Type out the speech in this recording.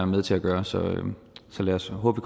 med til at gøre så så lad os håbe